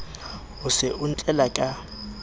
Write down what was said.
o se o ntlela ka